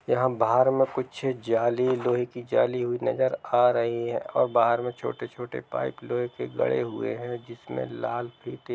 यहाँ बाहर में कुछ जाली लोहे की जाली हुई नजर आ रही है और बाहर में छोटे-छोटे पाइप के लोहे गड़े हुए है जिसमें लाल --